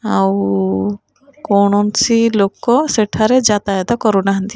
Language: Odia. ଆଉଉ କୌଣସି ଲୋକ ସେଠାରେ ଯାତାୟତ କରୁନାହାନ୍ତି।